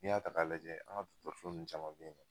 N'i y'a ta ka lajɛ an ka dɔkɔtɔrɔso nunnu caman be yen